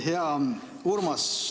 Hea Urmas!